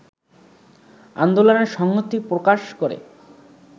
আন্দোলনে সংহতি প্রকাশ করে